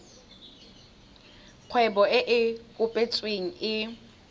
kgwebo e e kopetsweng e